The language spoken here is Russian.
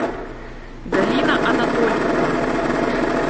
галина анатольевна